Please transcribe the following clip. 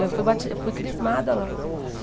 Eu fui bati, eu fui crismada lá.